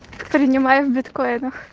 принимаем в биткоинах